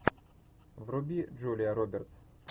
вруби джулия робертс